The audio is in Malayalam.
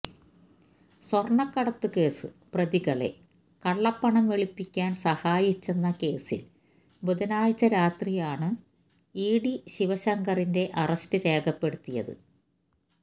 സ്വർണക്കടത്ത് കേസ് പ്രതികളെ കളളപ്പണം വെളുപ്പിക്കാൻ സഹായിച്ചെന്ന കേസിൽ ബുധനാഴ്ച്ച രാത്രിയാണ് രാത്രിയാണ് ഇഡി ശിവശങ്കറിന്റെ അറസ്റ്റ് രേഖപ്പെടുത്തിയത്